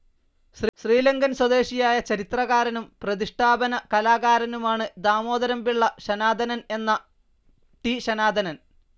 ശ്രീലങ്കൻ സ്വദേശിയായ ചിത്രകാരനും പ്രതിഷ്ഠാപന കലാകാരനുമാണ് ദാമോദരംപിള്ള ശനാതനൻ എന്ന ടി. ശനാതനൻ.